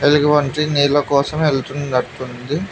ఎలుగు బండి నీళ్ల కోసం వెళ్తున్నట్టు ఉంది.